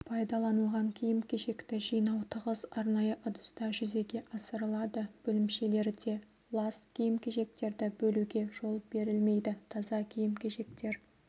пайдаланылған киім-кешекті жинау тығыз арнайы ыдыста жүзеге асырылады бөлімшелерде лас киім-кешектерді бөлуге жол берілмейді таза киім-кешектер